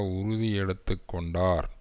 உறுதி எடுத்து கொண்டார்